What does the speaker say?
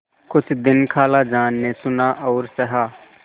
कुछ दिन खालाजान ने सुना और सहा